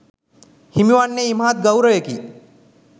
හිමි වන්නේ ඉමහත් ගෞරවයකි